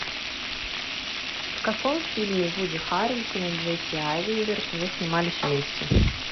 в каком фильме вуди харрельсон и джесси айзенберг уже снимались вместе